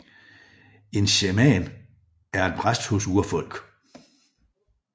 En shaman er en præst hos urfolk